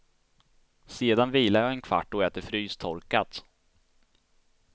Sedan vilar jag i en kvart och äter frystorkat.